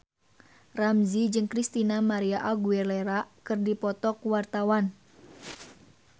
Ramzy jeung Christina María Aguilera keur dipoto ku wartawan